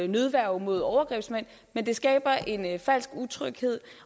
nødværge mod overgrebsmænd men det skaber en falsk tryghed